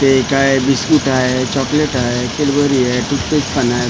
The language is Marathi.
हे काय बिस्कुट आहे चॉकलेट आहे कॅडबरी आहे चिप्स पण आहेत.